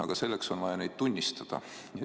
Aga selleks on vaja neid tunnistada.